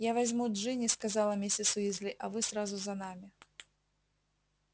я возьму джинни сказала миссис уизли а вы сразу за нами